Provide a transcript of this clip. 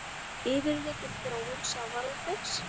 Yfirlit um þróun sjávarútvegs.